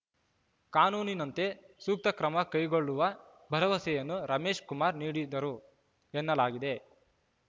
ಕಾನೂನಿನಂತೆ ಸೂಕ್ತ ಕ್ರಮ ಕೈಗೊಳ್ಳುವ ಭರವಸೆಯನ್ನು ರಮೇಶ್‌ಕುಮಾರ್ ನೀಡಿದರು ಎನ್ನಲಾಗಿದೆ